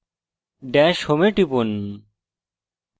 dash home এ টিপুন